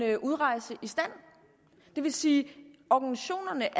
en udrejse i stand det vil sige at organisationerne